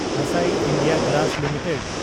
Asahi India glass limited